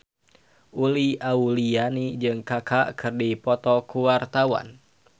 Uli Auliani jeung Kaka keur dipoto ku wartawan